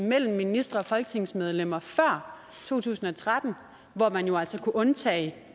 mellem ministre og folketingsmedlemmer før to tusind og tretten hvor man jo altså kunne undtage